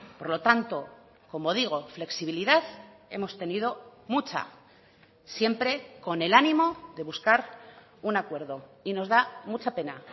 por lo tanto como digo flexibilidad hemos tenido mucha siempre con el ánimo de buscar un acuerdo y nos da mucha pena